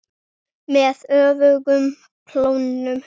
Með öfugum klónum.